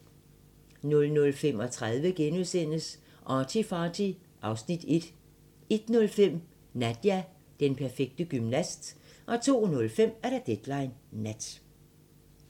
00:35: ArtyFarty (Afs. 1)* 01:05: Nadia - den perfekte gymnast 02:05: Deadline Nat